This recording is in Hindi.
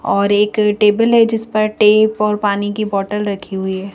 और एक टेबल है जिस पर टेप और पानी की बोतल रखी हुई है।